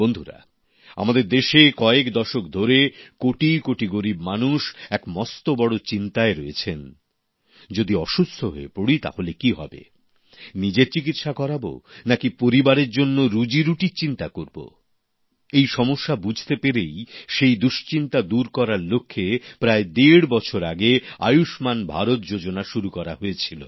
বন্ধুরা আমাদের দেশে কয়েক দশক ধরে কোটি কোটি গরিব মানুষ এক মস্ত বড় চিন্তায় রয়েছেন যদি অসুস্থ হয়ে পড়ি তাহলে কি হবে নিজের চিকিৎসা করাব নাকি পরিবারের জন্য রুজিরুটির চিন্তা করব এই সমস্যা বুঝতে পেরেই সেই দুশ্চিন্তা দূর করার লক্ষ্যে প্রায় দেড় বছর আগে আয়ুষ্মান ভারত যোজনা শুরু করা হয়েছিল